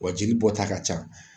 Wa jeli bɔ ta ka ca.